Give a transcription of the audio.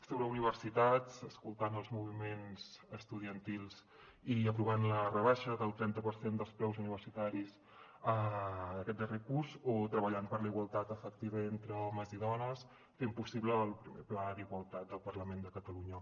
sobre universitats escoltant els moviments estudiantils i aprovant la rebaixa del trenta per cent dels preus universitaris aquest darrer curs o treballant per la igualtat efectiva entre homes i dones fent possible el primer pla d’igualtat del parlament de catalunya